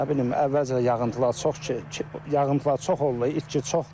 Nə bilim, əvvəlcə yağıntılar çox ki yağıntılar çox oldu, itki çoxdur.